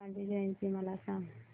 गांधी जयंती मला सांग